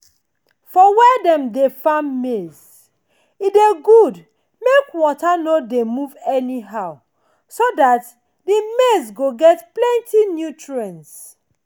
for where dem dey farm maize e dey good make water no dey move anyhow so that the maize go get plenty nutrients.